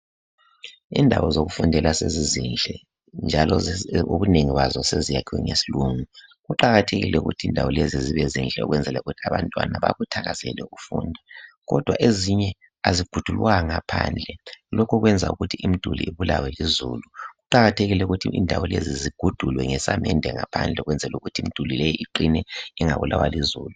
Indawo zokufundela sezizinhle njalo ubuningi bazo seziyakhiwe ngesilungu kuqakathekile ukuthi indawo lezi zibe zinhle ukwenzela ukuthi abantwana bakuthakazele ukufunda kodwan ezinye azibhudulwanga phandle lokhu okwenza imiduli ibalawe lizulu kuqakathekile ukuthi indawo lezi zibhudulwe ngesamande ngaphandle okwenzela ukuthi imiduli le iqine ingabulawa lizulu